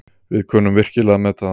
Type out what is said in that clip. Við kunnum virkilega að meta það.